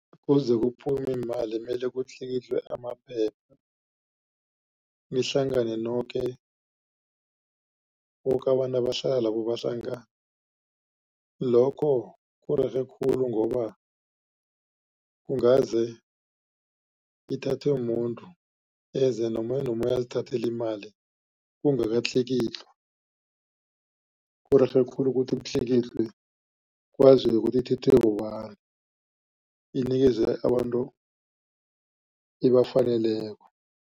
Kuze kuphume iimali mele kutlikitlwe amaphepha nihlangane noke. Boke abantu abahlala lapho bahlangane. Lokho kurerhe khulu ngoba kungaze ithathwe muntu eze nomunye nomunye azithathele imali kungakatlikitlwa. Kurerhe khulu ukuthi kutlikitlwe kwaziwe ukuthi ithathwe bobani inikeze abantu ebafaneleko.